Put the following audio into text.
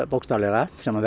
bókstaflega sem